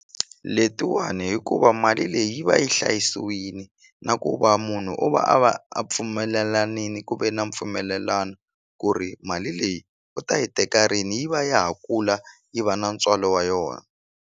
Letiwani hikuva mali leyi yi va yi hlayisiwini na ku va munhu u va a va a pfumelelanini ku ve na mpfumelelano ku ri mali leyi u ta yi teka rini yi va ya ha kula yi va na ntswalo wa yona.